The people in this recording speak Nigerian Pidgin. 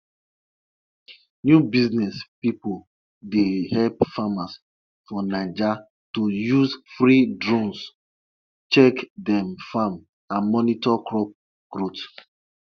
them be dey give pregnant cows extra care because if you kpai kpai them e go attract punishment for all the village.